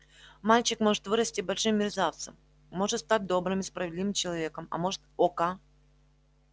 мальчик может вырасти большим мерзавцем может стать добрым и справедливым человеком а может ока